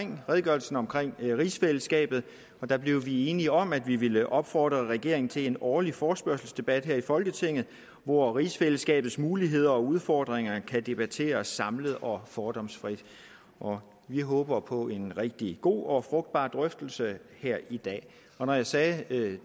med redegørelsen om rigsfællesskabet og der blev vi enige om at vi vil opfordre regeringen til en årlig forespørgselsdebat her i folketinget hvor rigsfællesskabets muligheder og udfordringer kan blive debatteret samlet og fordomsfri vi håber på en rigtig god og frugtbar drøftelse her i dag når jeg sagde at det